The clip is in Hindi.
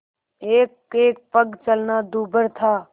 एकएक पग चलना दूभर था